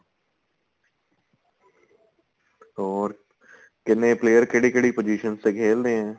ਹੋਰ ਕਿੰਨੇ player ਕਿਹੜੀ ਕਿਹੜੀ positions ਤੇ ਖੇਲਦੇ ਏ